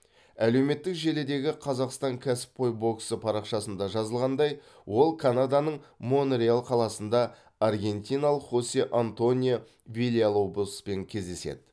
әлеуметтік желідегі қазақстан кәсіпқой боксы парақшасында жазылғандай ол канаданың монреаль қаласында аргентиналық хосе антонио вильялобоспен кездеседі